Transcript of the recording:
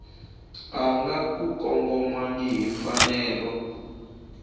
nga ku kongomangihi yi fanele